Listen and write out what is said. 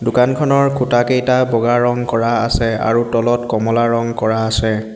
দোকানখনৰ খুঁটাকেইটা বগা ৰং কৰা আছে আৰু তলত কমলা ৰং কৰা আছে।